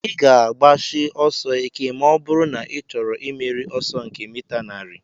Ị ga-agbashi ọsọ ike ma ọ bụrụ na ị chọrọ imeri ọsọ nke mita narị